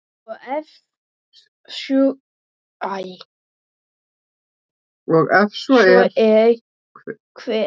og ef svo er, hver?